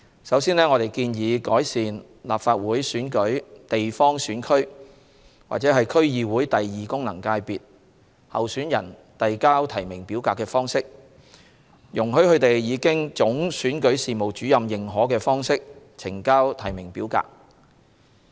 首先，我們建議改善立法會選舉地方選區或區議會功能界別候選人遞交提名表格的方式，容許他們以經總選舉事務主任認可的方式呈交提名表格。